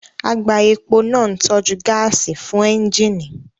Àgbá epo náà ń tọ́jú gáàsì fún ẹ́ńjíìnì